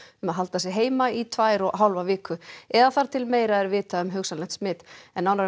að halda sig heima í tvær og hálfa viku eða þar til meira er vitað um hugsanlegt smit nánar